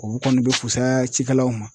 O kɔni bɛ fusaya cikɛlaw ma.